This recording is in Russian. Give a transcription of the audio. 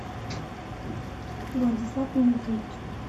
владислав дмитриевич